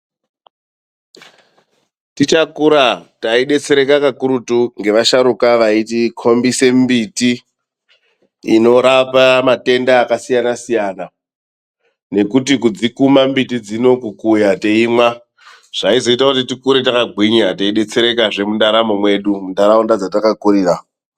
TICHAKURA TAIDETSEREKA KAKURUTU NGEVASHARUKA VAITIKOMBISE MBTI INORAPA MATENDA AKASIYANASIYANA, NEKUTI KUDZIKUMA MBITI NEKUKUYA TEIMWA ZVAIZOITA KUTI TIKURE TAKAGWINYA TEIDETSEREKAZVE MUNDARAMO MWEDU MUNHARAUNDA DZATAKAKURIRA.